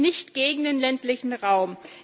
Wir sind nicht gegen den ländlichen Raum.